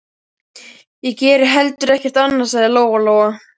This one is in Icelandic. Ég geri heldur ekkert annað, sagði Lóa-Lóa.